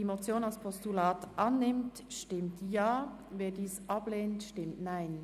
Wer die Motion als Postulat annimmt, stimmt Ja, wer dies ablehnt, stimmt Nein.